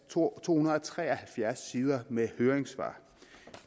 to hundrede og tre og halvfjerds sider med høringssvar